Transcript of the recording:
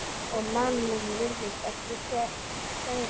Og Mammon virðist ekki fjarri.